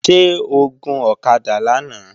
Ṣé o gun ọ̀kadà lánàá?